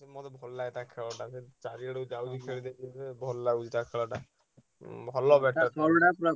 ବହୁତ୍ ଭଲ ଲାଗେ ତା ଖେଳ ଟା ବି ଚାରିଆଡେ ଭଲ ଲାଗୁଚି ତା ଖେଳଟା। ହୁଁ ଭଲ